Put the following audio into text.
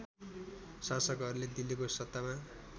शासकहरूले दिल्लीको सत्तामा